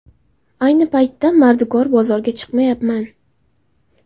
Ayni paytda mardikor bozorga chiqmayapman.